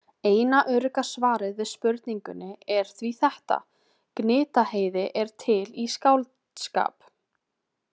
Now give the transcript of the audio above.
Eina örugga svarið við spurningunni er því þetta: Gnitaheiði er til í skáldskap.